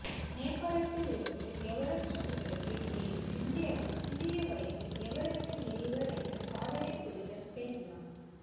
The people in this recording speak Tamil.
நேபாளத்தில் இருந்து எவரெஸ்ட் சிகரத்தில் ஏறி இந்தியாவில் சிறிய வயதில் எவரஸ்டை ஏறியவர் என்ற சாதனையை புரிந்த பெண் யார்